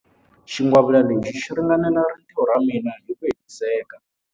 Xingwavila lexi xi ringanela rintiho ra mina hi ku hetiseka.